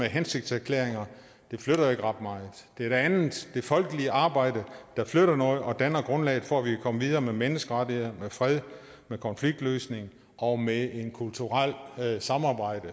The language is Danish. hensigtserklæringer flytter ikke ret meget det er det andet det folkelige arbejde der flytter noget og danner grundlaget for at vi kan komme videre med menneskerettigheder med fred med konfliktløsning og med et kulturelt samarbejde